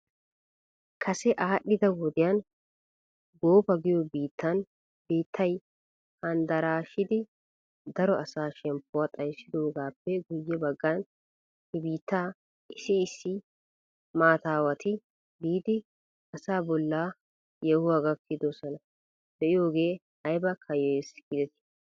Kase aadhdhida wodiyan goofa giyoo biittan biittay handaraashidi daro asaa shemppuwaa xayssidoogaappe guyye baggan he biitta issi issi maataawati biidi asaa bolla yeehuwaa gakkidoohaa be'iyoogee ayba kayyoyes giidrtii?